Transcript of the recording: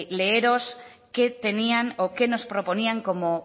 leeros qué tenían o qué nos proponían como